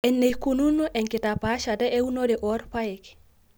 eneikununo enkitapaashata eunore oorpaek.